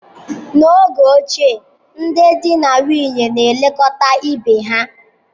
N'oge ochie, ndị di na nwunye na-elekọta ibe ha.